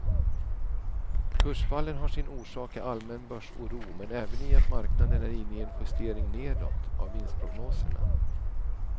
Kursfallen har sin orsak i allmän börsoro men även i att marknaden är inne i en justering nedåt av vinstprognoserna.